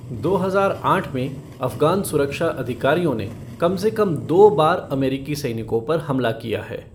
दो हजार आठ में अफ़गान सुरक्षा अधिकारियों ने कम से कम दो बार अमेरिकी सैनिकों पर हमला किया है।